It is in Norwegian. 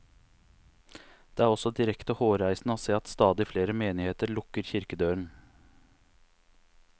Det er også direkte hårreisende å se at stadig flere menigheter lukker kirkedøren.